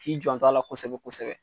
K'i janto a la kosɛbɛ kosɛbɛ.